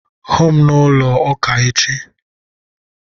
Hụụ m n'ụlọ ụka echi